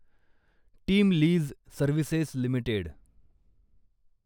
team lease services limited